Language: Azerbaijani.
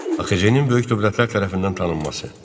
AXC-nin böyük dövlətlər tərəfindən tanınması.